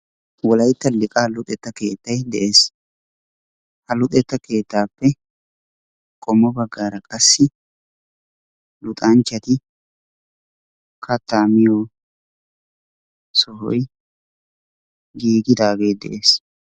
wolaytta liqaa luxetta keettay de'ees, ha luxetta keettaappe qommo bagaara qassi luxanchchati kattaa miyo sohoy giggidaagee de'ees,